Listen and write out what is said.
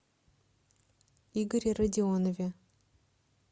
игоре родионове